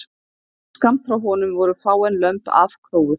Skammt frá honum voru fáein lömb afkróuð